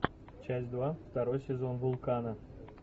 часть два второй сезон вулкана